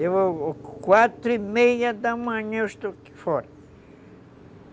quatro e meia da manhã, eu estou aqui fora.